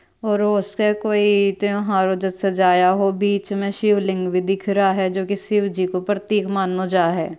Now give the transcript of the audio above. और उसपे कोई त्यौहार जैसा सजाया हो और बीच में शिवलिंग भी दिख रहा है जो की शिव जी को प्रतीक को मान नो जाए।